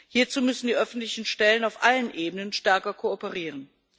Hierzu müssen die öffentlichen Stellen auf allen Ebenen stärker kooperieren.